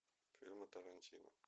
фильмы тарантино